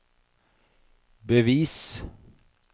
bevis